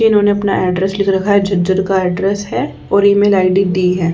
इन्होंने अपना ऐड्रेस लिख रखा है झज्जर का ऐड्रेस हे और ई मेल आई_डी दी हैं।